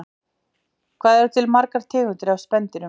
Hvað eru til margar tegundir af spendýrum?